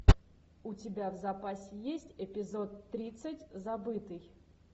у тебя в запасе есть эпизод тридцать забытый